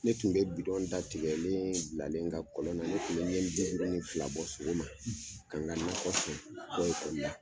Ne tun bɛ bidɔn datigɛ bilalen n ka kɔlon na ,ne tun bɛ ɲɛ bi duuru ni fila bɔ sɔgɔ ma ka n ka nakɔ sɔn.